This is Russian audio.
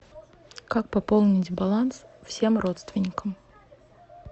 как пополнить баланс всем родственникам